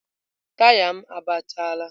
taya m agbachaala.